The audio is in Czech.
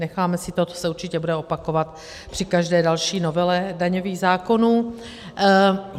Necháme si to, to se určitě bude opakovat při každé další novele daňových zákonů.